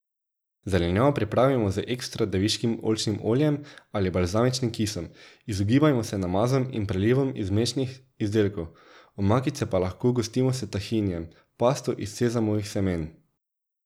Zelenjavo pripravimo z ekstra deviškim oljčnim oljem ali balzamičnim kisom, izogibajmo se namazom in prelivom iz mlečnih izdelkov, omakice pa lahko gostimo s tahinijem, pasto iz sezamovih semen.